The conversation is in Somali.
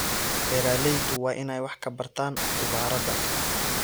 Beeraleydu waa inay wax ka bartaan khubarada.